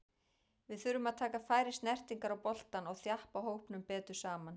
Við þurfum að taka færri snertingar á boltann og þjappa hópnum betur saman.